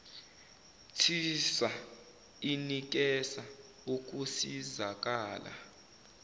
tissa inikeza ukusizakala